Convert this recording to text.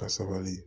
Ka sabali